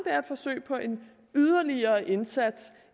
er et forsøg på en yderligere indsats